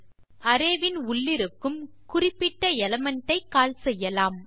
இப்போது அரே இன் உள்ளிருக்கும் குறிப்பிட்ட எலிமெண்ட் ஐ கால் செய்யலாம்